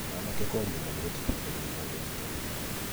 Mwanake kwaria mũno gũtiteithagia mũndũ ruta wĩra